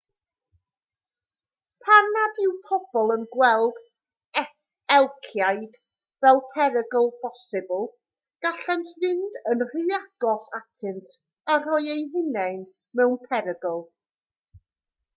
pan nad yw pobl yn gweld elciaid fel perygl posibl gallent fynd yn rhy agos atynt a rhoi eu hunain mewn perygl